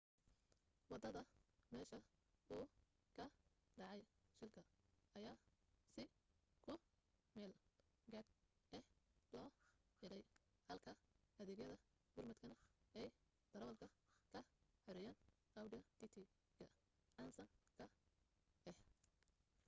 wadada meesha uu ka dhacay shilka ayaa si ku meel gaadh ah loo xidhay halka adeegyada gurmadkana ay darawalka ka xoreeyeen audi tt ga casaanka ah